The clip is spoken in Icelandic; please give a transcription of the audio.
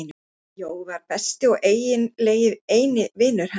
Jói var besti og eiginlega eini vinur hans.